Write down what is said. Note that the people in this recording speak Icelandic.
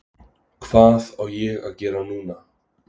Hvað á ég að gera núna?